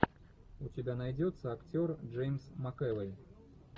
у тебя найдется актер джеймс макэвой